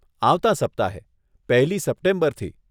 આવતાં સપ્તાહે, પહેલી સપ્ટેમ્બરથી.